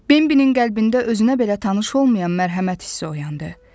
Bimbinin qəlbində özünə belə tanış olmayan mərhəmət hissi oyandı.